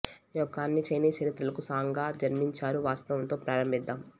యొక్క అన్ని చైనీస్ చరిత్రలకు సాంగ్గా జన్మించారు వాస్తవం తో ప్రారంభిద్దాం